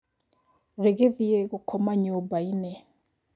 Rĩgĩthiĩ gũkoma nyũmbainĩ.